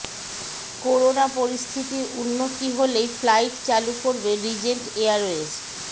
corona পরিস্থিতির উন্নতি হলেই ফ্লাইট চালু করবে রিজেন্ট এয়ারওয়েজ